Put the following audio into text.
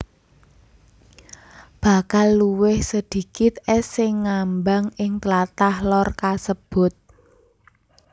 Bakal luwih sedikit ès sing ngambang ing tlatah Lor kasebut